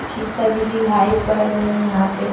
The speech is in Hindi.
चीज़ सभी दिखाई पड़ रहे है यहाँ पे।